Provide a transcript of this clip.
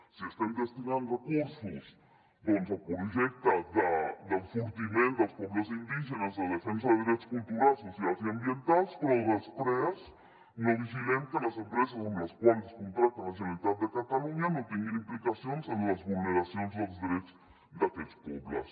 si estem destinant recursos doncs al projecte d’enfortiment dels pobles indígenes de la defensa de drets culturals socials i ambientals però després no vigilem que les empreses amb les quals contracta la generalitat de catalunya no tinguin implicacions en les vulneracions dels drets d’aquests pobles